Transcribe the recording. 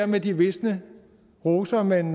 med de visne roser men